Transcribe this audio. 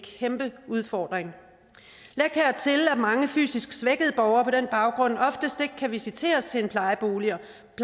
kæmpe udfordring læg hertil at mange fysisk svækkede borgere på den baggrund oftest ikke kan visiteres til en plejebolig